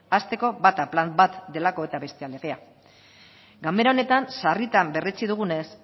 hasteko bata plan bat delako eta bestea legea ganbera honetan sarritan berretsi dugunez